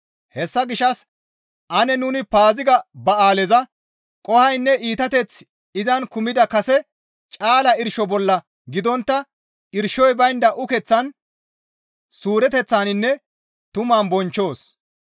Hessa gishshas ane nuni Paaziga ba7aaleza qohoynne iitateththi izan kumida kase caala irsho bolla gidontta irshoy baynda ukeththan suureteththaninne tuman bonchchoos.